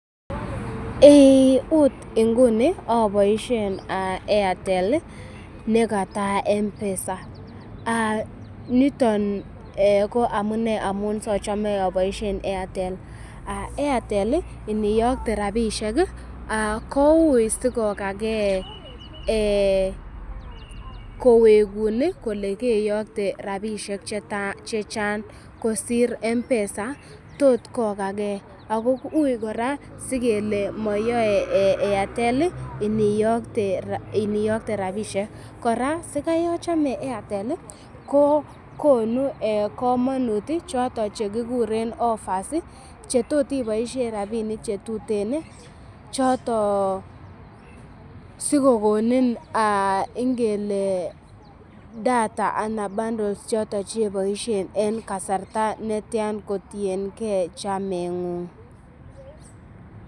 Akot nguni aboishen Airtel nikata mpesa niton ko amune amun sachame aboishe airtel, airtel niyokte ropisiek ko ui sikokakee kowekun kole keyokte rapishe chechang kosir mpesa tot kokaker ako ui kora sikele mayoe airtel iniyokte rapishek kora sikayachame airtel ko konu kamanut choto chekikuren offers chetot iboishe rapinik chetuten choto sikokonin ng'ele data ana bundles choto cheboishe en kasarta netyan kotienkei chamengung